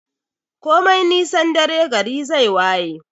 Komai nisan dare gari zai waye.